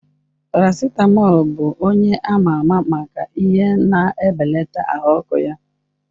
Paracetamol bụ onye ama ama maka ihe na-ebelata ahụ ọkụ ya.